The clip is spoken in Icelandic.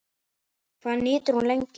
Hvað nýtist hún lengi?